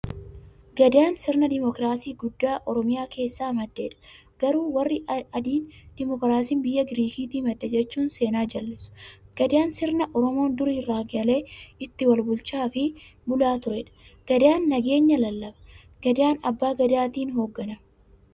Gadaan sirna dimokiraasii guddaa oromiyaa keessaa maddeedha. Garuu warri Adiin, demokiraasiin biyya Girikiitii madde jechuun seenaa jallisu. Gadaan sirna Oromoon duri irraa eegalee ittiin walbulchaafi bulaa tureedha. Gadaan nageenya lallaba. Gadaan abbaa gadaatin hoogganama.